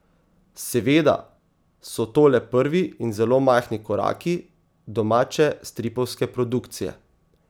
Seveda so to le prvi in zelo majhni koraki domače stripovske produkcije.